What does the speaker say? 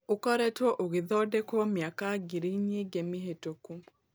Ũkoretwo ũgĩthondekwo mĩaka ngiri nyingĩ mĩhĩtũku.